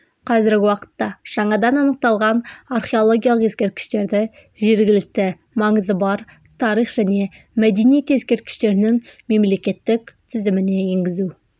қазіргі уақытта жаңадан анықталған археологиялық ескерткіштерді жергілікті маңызы бар тарих және мәдениет ескерткіштерінің мемлекеттік тізіміне енгізу